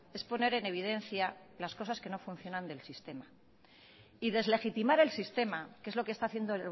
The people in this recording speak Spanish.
es poner en evidencia las cosas que no funcionan del sistema y deslegitimar el sistema que es lo que está haciendo